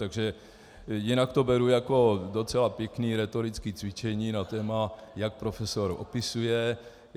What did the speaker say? Takže jinak to beru jako docela pěkné rétorické cvičení na téma, jak profesor opisuje.